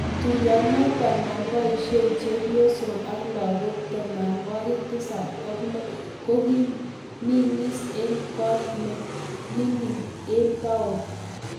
kotuiyonoto no boisiek, chebyosok ak lagok tamanwokik tisab ak lo kikoming'is eng koot ne ming'in eng town